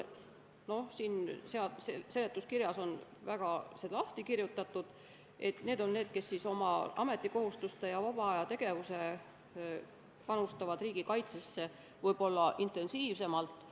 Siin seletuskirjas on lahti kirjutatud, et need on need, kes oma ametikohustuste ja vabaajategevusega panustavad riigikaitsesse intensiivsemalt.